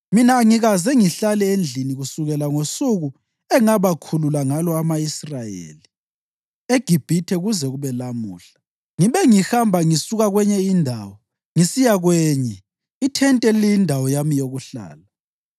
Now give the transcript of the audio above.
Mina angikaze ngihlale endlini kusukela ngosuku engabakhulula ngalo ama-Israyeli eGibhithe kuze kube lamuhla. Ngibe ngihamba ngisuka kwenye indawo ngisiya kwenye ithente liyindawo yami yokuhlala.